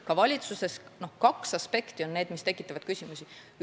Ka valitsuses tekitasid küsimusi kaks aspekti.